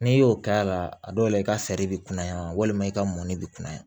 N'i y'o k'a la a dɔw la i ka bɛ kunnaya walima i ka mɔni bɛ kunnaya